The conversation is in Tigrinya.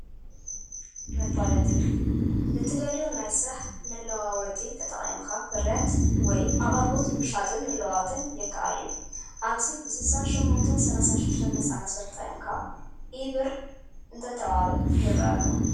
መፋለጢ፡- ንእትደልዮ ናይ ስራሕ መዋዓውዒ ተጠቒምካ ፍርያት ወይ ኣቅርቦት ምሻጥን ምልዋጥን የካኣል እዩ፡፡ ኣብዚ ብ6836 ነፃ መስመር ተጠቒምካ ኢ-ብር እንተተባብዕ ይረአ ኣሎ፡፡